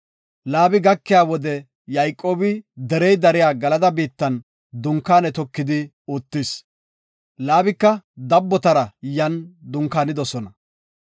Laabi gakiya wode Yayqoobi derey dariya Galada biittan dunkaane tokidi uttis. Laabika dabbotara yan dunkaanidosona.